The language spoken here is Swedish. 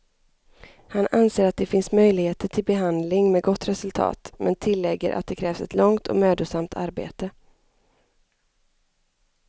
Han anser att det finns möjligheter till behandling med gott resultat, men tillägger att det kräver ett långt och mödosamt arbete.